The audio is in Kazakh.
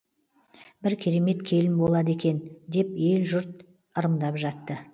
бір керемет келін болады екен деп ел жұрт ырымдап жатты